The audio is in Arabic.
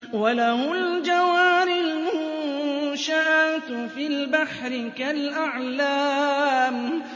وَلَهُ الْجَوَارِ الْمُنشَآتُ فِي الْبَحْرِ كَالْأَعْلَامِ